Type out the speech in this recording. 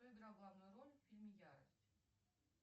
кто играл главную роль в фильме ярость